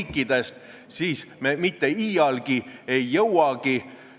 Erakonna esimees ja kõik teised räägivad, et eesti keel on tähtis ja on oluline, et me saaksime midagi teha.